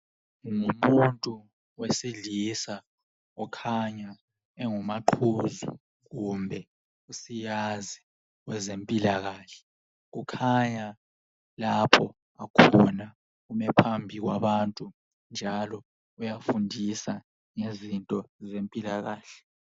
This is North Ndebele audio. Ngumuntu wesilisa okhanya engumaqhuzu kumbe usiyazi wezempilakahle. Ukhanya lapho akhona, umi phambi kwabantu. Uyafundisa ngezinto zempilakahle.